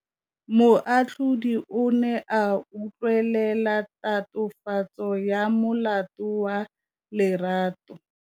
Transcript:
Moatlhodi o ne a utlwelela tatofatsô ya molato wa Lerato.